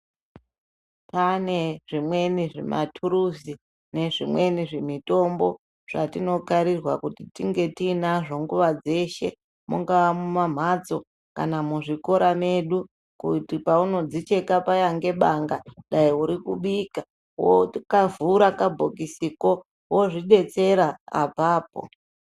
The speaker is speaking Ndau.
Pane zvimweni zvimathuruzu nezvimweni zvimitombo, zvatinokarirwa kuti tinge tiinazvo nguwa dzeshe ,mungaa mumumphatso kana muzvikora mwedu, kuti paunodzicheka paya ngebanga ,dai uri kubika, wokavhura kabhokisiko, wozvidetsera apapo.